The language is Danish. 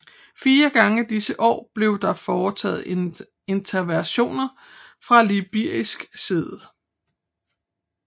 Fire gange disse år blev der foretaget interventioner fra Libysk side